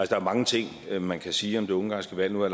der er mange ting man kan sige om det ungarske valg nu har